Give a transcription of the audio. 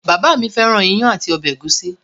Bàbá mi fẹ́ràn iyán àti ọbẹ̀ ẹ̀gúsí.